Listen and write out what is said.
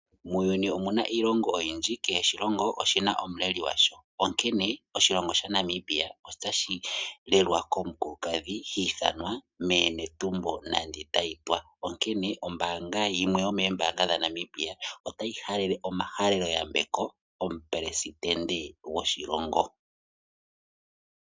Omuna iilongo oyindji, kehe oshilongo oshina omuleli gwasho onkene oshilongo shaNamibia otashi lelwa komukulukadhi hiithanwa meeNetumbo Nandi-Ndaitwah, onkene ombaanga yimwe yomeembaanga dhaNamibia otayi halele omahalelo yambeko omuleli goshilongo.